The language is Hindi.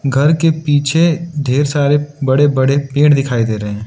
घर के पीछे ढेर सारे बडे़ बडे़ पेड़ दिखाई दे रहे--